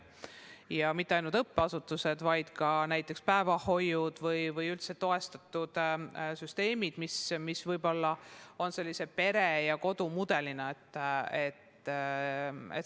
Ja mitte ainult õppeasutused, vaid ka päevahoiud või üldse toestatud süsteemid, mis toimivad pere ja kodu mudelina.